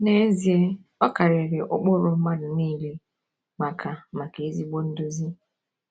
N’ezie, ọ karịrị ụkpụrụ mmadụ niile maka maka ezigbo nduzi.